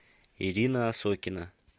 ирина осокина